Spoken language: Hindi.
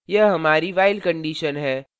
यह हमारी while condition है